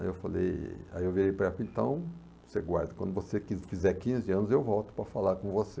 Aí eu falei, aí eu virei para ela, então você guarda, quando você fizer quinze anos eu volto para falar com você.